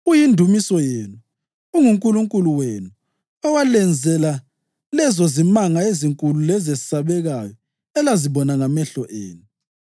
Uyindumiso yenu, unguNkulunkulu wenu, owalenzela lezozimanga ezinkulu lezesabekayo elazibona ngamehlo enu.